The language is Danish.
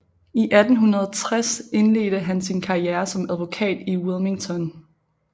I 1806 indledede han sin karriere som advokat i Wilmington